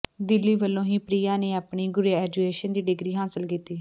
ਦਿੱਲੀ ਵਲੋਂ ਹੀ ਪ੍ਰਿਆ ਨੇ ਆਪਣੀ ਗਰੇਜੁਏਸ਼ਨ ਦੀ ਡਿਗਰੀ ਹਾਸਲ ਕੀਤੀ